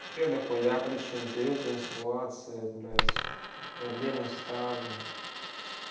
ещё дохуя причин период менструации блядь проблемы с тазом